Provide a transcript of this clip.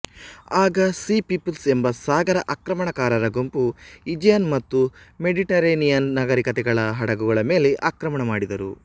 ಆಗ sea peoples ಎಂಬ ಸಾಗರ ಆಕ್ರಮಣಕಾರರ ಗುಂಪು ಈಜಿಯನ್ ಮತ್ತು ಮೆಡಿಟರೇನಿಯನ್ ನಾಗರಿಕತೆಗಳ ಹಡಗುಗಳ ಮೇಲೆ ಆಕ್ರಮಣ ಮಾಡಿದರು